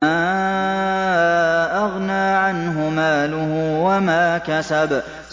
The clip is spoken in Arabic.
مَا أَغْنَىٰ عَنْهُ مَالُهُ وَمَا كَسَبَ